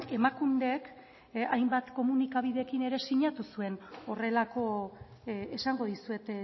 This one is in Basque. emakundek hainbat komunikabiderekin ere sinatu zuen horrelako esango dizuet